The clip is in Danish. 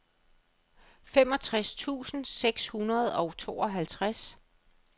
femogtres tusind seks hundrede og tooghalvtreds